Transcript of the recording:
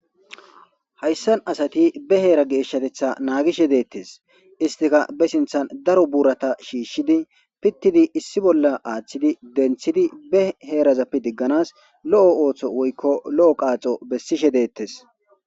Hayssan asati be heera geeshshatetha naagishe deettes istika be sinthan daro buurata shiishshidi pittidi issi bolla aaththidi denthidi be heerazappe digganas lo'o ooththo woykko lo'o qaaxo bessishe deettes